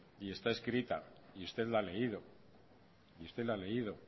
y está escrito y usted lo ha leído